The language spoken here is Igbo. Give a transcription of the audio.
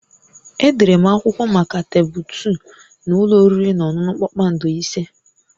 Edere m akwụkwọ maka tebụl 2 na ụlọ oriri na ọṅụṅụ kpakpando ise